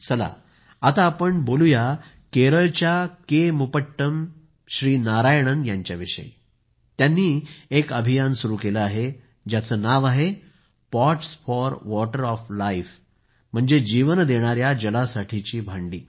चला आता आपण बोलूया केरळच्या के मुपट्टम श्री नारायणन यांच्याविषयी त्यांनी एक अभियान सुरु केलं आहे ज्याचं नाव आहे pots for water of life म्हणजे जीवन देणाऱ्या जलासाठीची भांडी